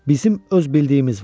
Bizim öz bildiyimiz var.